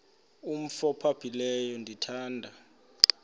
umf ophaphileyo ndithanda